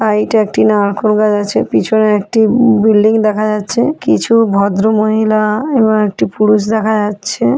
একটি নারকোল গাছ আছে পিছনে একটি উম বিল্ডিং দেখা যাচ্ছে কিছু ভদ্রমহিলা আ এবং একটি পুরুষ দেখা যাচ্ছে।